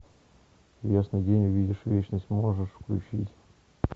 в ясный день увидишь вечность можешь включить